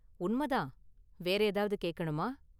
உண்மை தான், வேற​ ஏதாவது கேக்கணுமா?